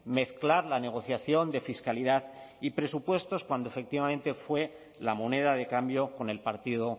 mezclar la negociación de fiscalidad y presupuestos cuando efectivamente fue la moneda de cambio con el partido